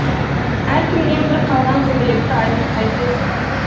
әркімнен бір қалған көбелекті айтып қайтесің